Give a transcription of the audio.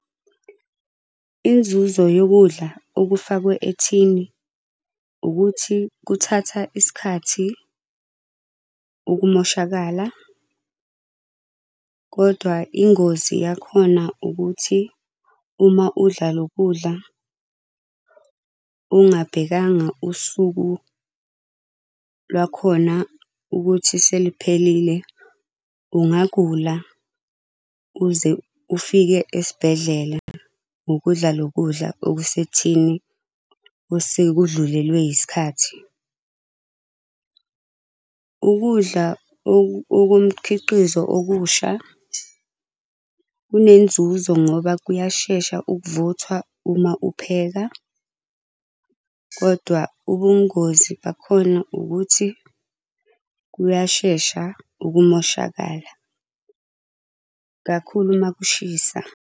Inzuzo yokudla okufakwe ethini ukuthi kuthatha isikhathi ukumoshakala, kodwa ingozi yakhona ukuthi uma udla loku kudla, ungabhekanga usuku lwakhona ukuthi seliphelile, ungagula uze ufike esibhedlela ngokudla loku kudla okusethini osekudlulelwe yisikhathi. Ukudla okumkhiqizo okusha, kunenzuzo ngoba kuyashesha ukuvuthwa uma upheka, kodwa ubungozi bakhona ukuthi kuyashesha ukumoshakala. Kakhulu uma kushisa.